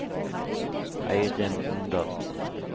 Eirin Omdal